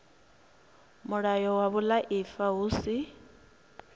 mulayo wa vhuaifa hu si